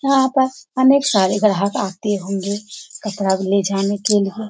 यहाँ पर अनेक सारे ग्राहक आते होंगे कपड़ा ले जाने के लिए।